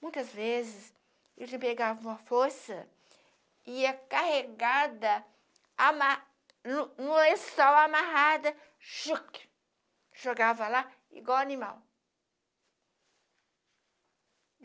Muitas vezes, ele me pegava uma força e ia carregada amarra no no lençol amarrada, choque jogava lá igual animal.